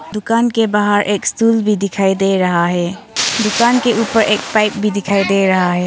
दुकान के बाहर एक स्तूल भी दिखाई दे रहा है दुकान के ऊपर एक पाइप भी दिखाई दे रहा है।